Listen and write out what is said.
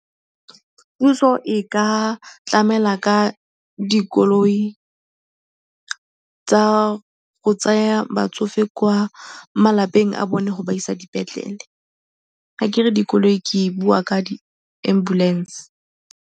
Puso e ka tlamela ka dikoloi tsa go tsaya batsofe kwa malapeng a bone go ba isa dipetlele, fa ke re dikoloi ke bua ka di-ambulance.